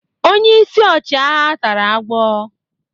Onye isi ọchịagha tara agwọ.